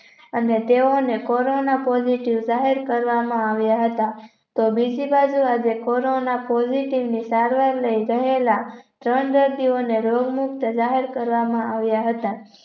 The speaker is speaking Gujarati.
અને તેઓને corona Positive જાહેર કરવામાં આવ્યા હતા તો બીજી બાજુ આજે કોરોના corona Positive ની સારવારે ગયેલા ત્રણ દર્દી ઓને રોગ મુક્ત જાહેર કરવામાં આવ્યા હતા